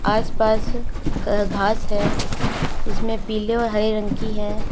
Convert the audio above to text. आस पास घ घास है इसमें पीले और हरी रंग की है।